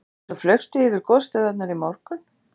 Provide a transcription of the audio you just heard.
En svo flaugstu yfir gosstöðvarnar í morgun?